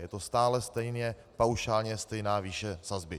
Je to stále stejně paušálně stejná výše sazby.